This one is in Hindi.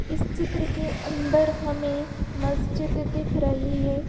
इस चित्र के अंदर हमें मस्जिद दिख रही है।